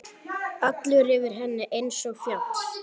Allur yfir henni einsog fjall.